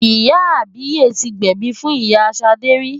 Ìyá àbíyè ti gbẹ̀bi fún ìyá Ṣadé rí.